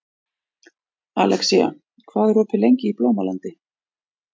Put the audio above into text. Alexía, hvað er opið lengi í Blómalandi?